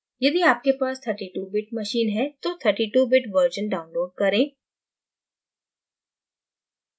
यदि आपके पास 32 bit machine है तो 32 bit version download करें